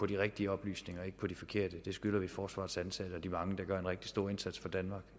de rigtige oplysninger og ikke på de forkerte det skylder vi forsvarets ansatte og de mange der gør en rigtig stor indsats for danmark